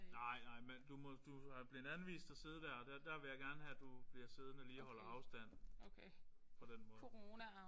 Nej nej men du må du er blevet anvist at sidde der der der vil jeg gerne have du bliver siddende og lige holder afstand på den måde